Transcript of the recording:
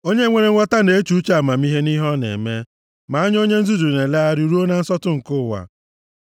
Onye nwere nghọta na-eche uche amamihe nʼihe ọ na-eme, ma anya onye nzuzu na-elegharị ruo na nsọtụ nke ụwa.